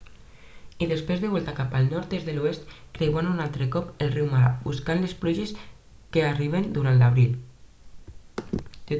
i després de volta cap al nord des de l'oest creuant un altre cop el riu mara buscant les pluges que arriben durant l'abril